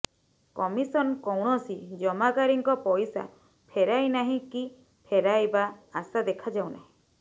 commission କୌଣସି ଜମାକାରୀଙ୍କ ପଇସା ଫେରାଇନାହିଁ କି ଫେରାଇବା ଆଶା ଦେଖାଯାଉନାହିଁ